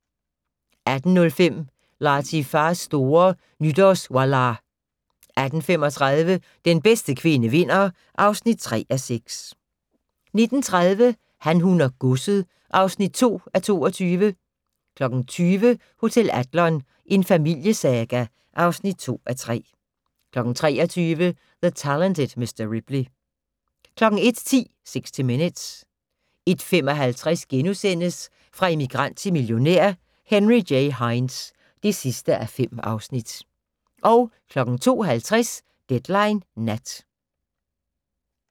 18:05: Latifa's store Nytårswallah 18:35: Bedste kvinde vinder (3:6) 19:30: Han, hun og godset (2:22) 20:00: Hotel Adlon - en familiesaga (2:3) 23:00: The Talented Mr. Ripley 01:10: 60 Minutes 01:55: Fra immigrant til millionær: Henry J. Heinz (5:5)* 02:50: Deadline Nat